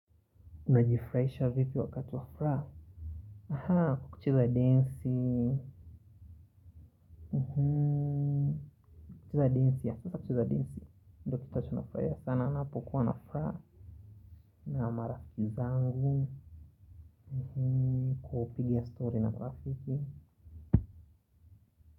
Unajifurahisha vipi wakati wa furaha Aha kucheza densi kucheza densi ya kucheza densi ndiyo kitu ninachofurahia sana ninapokuwa na furaha. Na marafiki zangu kupiga story na marafiki.